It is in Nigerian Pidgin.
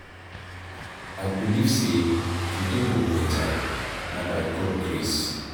I believe sey today go beta, na by God grace.